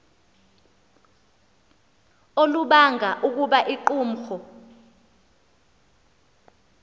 olubanga ukuba iqumrhu